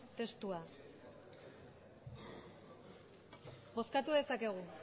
testua bozkatu dezakegu